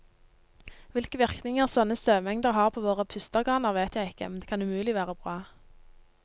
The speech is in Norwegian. Hvilke virkninger sånne støvmengder har på våre pusteorganer, vet jeg ikke, men det kan umulig være bra.